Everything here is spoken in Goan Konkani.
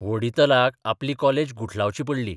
व्होडितलाक आपली कॉलेज गुठलावची पडली.